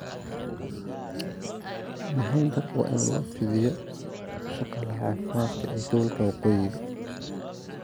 Mahadnaq waa in loo fidiyaa shaqaalaha caafimaadka ee gobolka Waqooyi.